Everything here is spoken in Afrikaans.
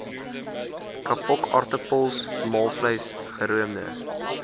kapokaartappels maalvleis geroomde